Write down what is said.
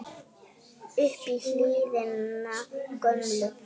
upp í hlíðina gömlu